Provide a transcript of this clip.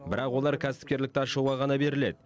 бірақ олар кәсіпкерлікті ашуға ғана беріледі